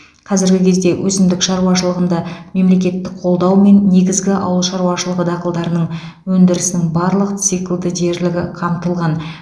қазіргі кезде өсімдік шаруашылығында мемлекеттік қолдаумен негізгі ауыл шаруашылығы дақылдарының өндірісінің барлық циклды дерлігі қамтылған